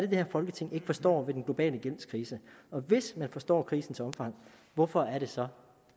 her folketing ikke forstår ved den globale gældskrise og hvis man forstår krisens omfang hvorfor er det så